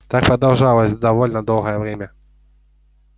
так продолжалось довольно долгое время